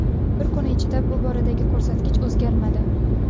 Bir kun ichida bu boradagi ko‘rsatkich o‘zgarmadi.